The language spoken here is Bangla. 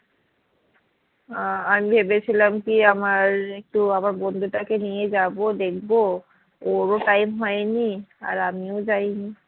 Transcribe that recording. আহ আর ভেবেছিলাম কি আমার একটু আমার বন্ধুটাকে নিয়ে যাবো দেখবো ওর ও time হয়নি আর আমিও যায়নি